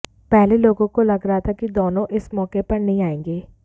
पहले लोगो को लग रहा था कि दोनों इस मौके पर नही आएंगे